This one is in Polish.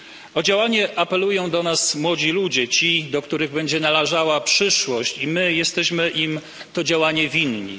O działanie apelują do nas młodzi ludzie ci, do których będzie należała przyszłość i my jesteśmy im to działanie winni.